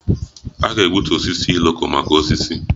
A ga-egbutu osisi Iroko maka osisi